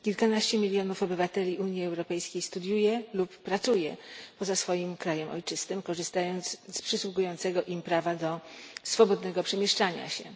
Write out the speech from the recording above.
Kilkanaście milionów obywateli Unii Europejskiej studiuje lub pracuje poza swoim krajem ojczystym, korzystając z przysługującego im prawa do swobodnego przemieszczania się.